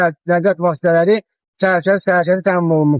Nəqliyyat vasitələri sərbəst hərəkəti təmin olunmuşdur.